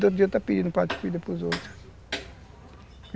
No outro dia, está pedindo um prato de comida para os outros.